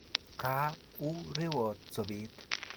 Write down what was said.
kaa u rewot sobeet?